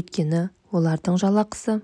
өйткені олардың жалақысы